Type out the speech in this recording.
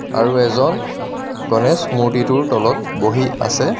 আৰু এজন গণেশ মূৰ্তিটোৰ তলত বহি আছে.